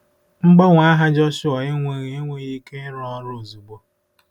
Mgbanwe aha Jọshụa enweghị enweghị ike ịrụ ọrụ ozugbo.